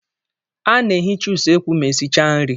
Ana-ehicha usekwu ma esichaa nri.